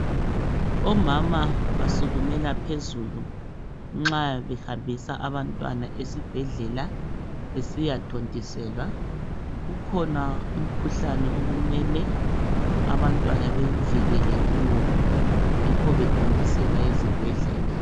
Omama basukume phezulu nxa behambisa abantwana esibhedlela besiyathontiselwa. Ukhona umkhuhlane okumele abantwana bevikelwe kiwo yikho bethontiselwa ezibhedlela.